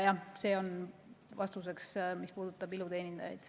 See vastus käib ka iluteenindajate kohta.